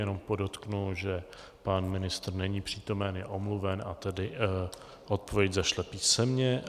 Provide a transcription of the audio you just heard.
Jenom podotknu, že pan ministr není přítomen, je omluven a tedy odpověď zašle písemně.